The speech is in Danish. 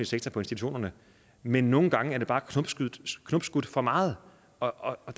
sektor på institutionerne men nogle gange er det bare knopskudt for meget og